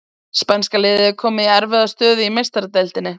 Spænska liðið er komið í erfiða stöðu í Meistaradeildinni!